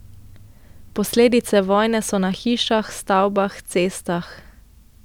Posledice vojne so na hišah, stavbah, cestah.